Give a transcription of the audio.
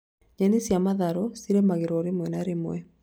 Nyeni cia matharũ cirĩmagĩrwo rĩmwe na rĩmwe